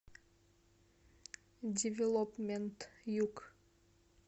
девелопмент юг